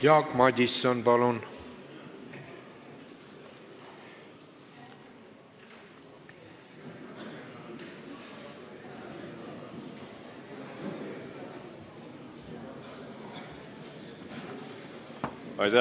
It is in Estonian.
Jaak Madison, palun!